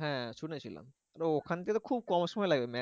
হ্যাঁ শুনেছিলাম তো ওখান থেকে খুব কম সময় লাগবে